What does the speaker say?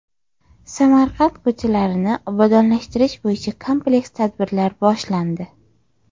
Samarqand ko‘chalarini obodonlashtirish bo‘yicha kompleks tadbirlar boshlandi.